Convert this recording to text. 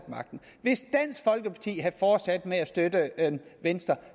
med at fortsat med at støtte venstre